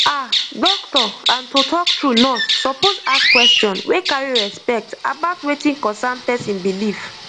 ah doctor and to talk true nurse suppose ask question wey carry respect about wetin concern person belief